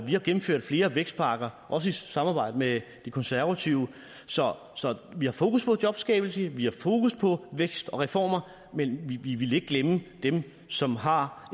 vi har gennemført flere vækstpakker også i samarbejde med de konservative så vi har fokus på jobskabelse vi har fokus på vækst og reformer men vi vil ikke glemme dem som har